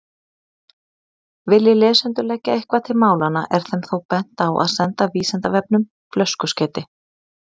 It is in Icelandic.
Vilji lesendur leggja eitthvað til málanna er þeim þó bent á að senda Vísindavefnum flöskuskeyti.